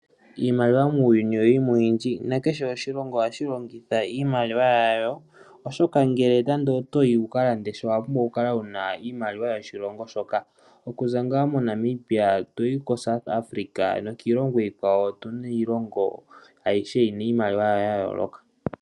Iimaliwa muuyuni oyili mo oyindji nakehe oshilongo ohashi longitha iimaliwa yasho nakehe oshoka ngele nande otoyi wu ka lande sha owa pumbwa oku kala wuna iimaliwa yoshilongo shoka. Okuza ngaa moNamibia, toyi ko South Africa nokiilongo iikwawo. Otuna iilongo ayihe yina iimaliwa yawo ya yooloka.